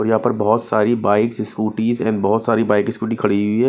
और यहां पर बहुत सारी बाइक्स स्कूटीस एंड बहुत सारी बाइक स्कूटी हुई है।